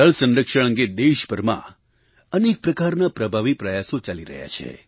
જળસંરક્ષણ અંગે દેશભરમાં અનેક પ્રકારના પ્રભાવી પ્રયાસો ચાલી રહ્યા છે